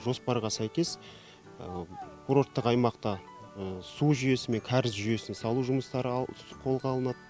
жоспарға сәйкес курорттық аймақта су жүйесі мен кәріз жүйесін салу жұмыстары қолға алынады